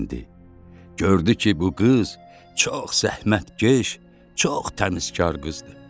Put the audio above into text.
Gördü ki, bu qız çox zəhmətkeş, çox təmizkar qızdır.